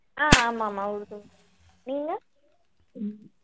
ஆஹ் ஆமாம்மா உருது நீங்க